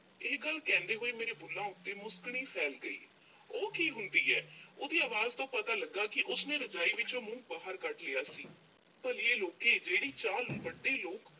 ਇਹ ਗੱਲ ਕਹਿੰਦੇ ਹੋਏ, ਮੇਰੇ ਬੁੱਲ੍ਹਾਂ ਉੱਤੇ ਮੁਸਕਣੀ ਫੈਲ ਗਈ, ਉਹ ਕੀ ਹੁੰਦੀ ਹੈ? ਉਹਦੀ ਅਵਾਜ਼ ਤੋਂ ਪਤਾ ਲੱਗਾ ਕਿ ਉਸਨੇ ਰਜ਼ਾਈ ਵਿੱਚੋਂ ਮੂੰਹ ਬਾਹਰ ਕੱਢ ਲਿਆ ਸੀ, ਭਲੀਏ ਲੋਕੇ ਜਿਹੜੀ ਚਾਹ ਵੱਡੇ ਲੋਕ